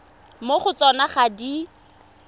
mo go tsona ga di